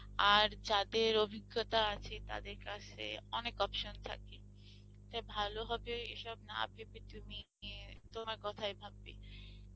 আর যাদের অভিজ্ঞতা আছে তাদের কাছে অনেক option থাকবে, তাই ভালো হবে এসব না ভাবে তুমি ইয়ে তোমার কথায় ভাববে